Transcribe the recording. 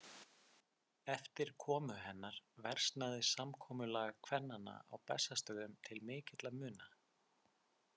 Eftir komu hennar versnaði samkomulag kvennanna á Bessastöðum til mikilla muna.